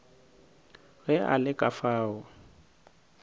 ge a le ka fao